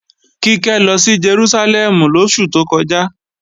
Kíkẹ́ lọ sí Jerúsálẹ́mù lóṣù tó kọjá